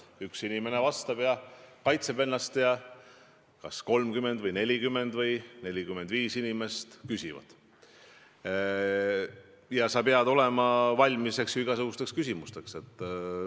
Üks inimene vastab ja kaitseb ennast, 30 või 40 või 45 inimest küsivad ja sa pead olema valmis igasugusteks küsimusteks.